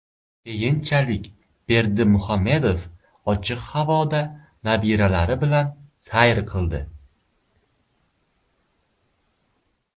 Keyinchalik Berdimuhamedov ochiq havoda nabiralari bilan sayr qildi.